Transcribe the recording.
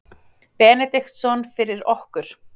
Benediktsson fyrir okkur.